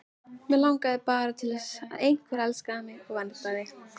Mig langaði bara til að einhver elskaði mig og verndaði.